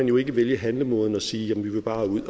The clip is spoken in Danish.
jo ikke vælge handlemåden og sige at vi bare vil